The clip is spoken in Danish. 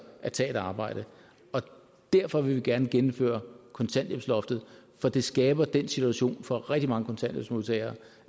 at tage et arbejde derfor vil vi gerne gennemføre kontanthjælpsloftet for det skaber den situation for rigtig mange kontanthjælpsmodtagere